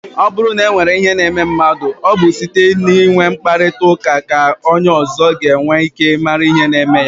Ọ bụrụ na o nwere ihe na-eme mmadụ, ọ bụ site n'inwe mkparịta ụka ka onye ọzọ ga-enwe ike mara ihe na-eme ya.